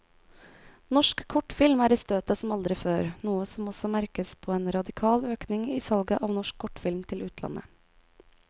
Norsk kortfilm er i støtet som aldri før, noe som også merkes på en radikal økning i salget av norsk kortfilm til utlandet.